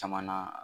Caman na